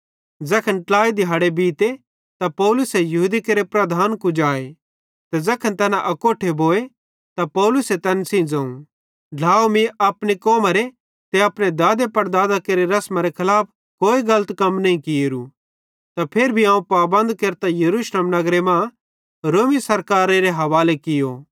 ज़ैखन ट्लाई दिहाड़े बीते त पौलुसे यहूदी केरे प्रधान कुजाए ते ज़ैखन तैना अकोट्ठे भोए त पौलुसे तैन सेइं ज़ोवं ढ्लाव मीं अपनी कौमरे ते अपने दादेपड़दादां केरि रसमरे खलाफ कोई कम नईं कियेरू त फिर भी अवं पाबंद केरतां यरूशलेम नगरे मां रोमी सरकारारे हवाले कियो